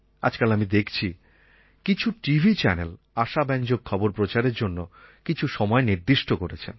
আজকাল আমি দেখছি কিছু টিভি চ্যানেল আশাব্যঞ্জক খবর প্রচারের জন্য কিছু সময় নির্দিষ্ট করেছেন